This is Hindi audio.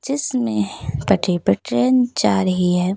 जिस में पटरी पर ट्रेन जा रही है।